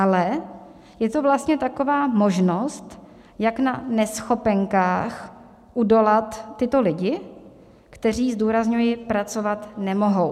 Ale je to vlastně taková možnost, jak na neschopenkách udolat tyto lidi, kteří - zdůrazňuji - pracovat nemohou.